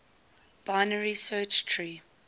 binary search tree